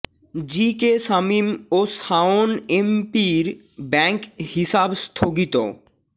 জি K Shamim ও শাওন এমপির bank হিসাব স্থগিত